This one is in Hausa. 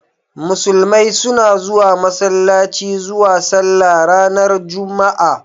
Musulmai suna zuwa Masallaci zuwa sallah ranar juma'a.